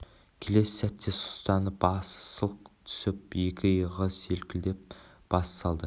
келесі сәтте сұстанып басы сылқ түсіп екі иығы селкклдеп бас салды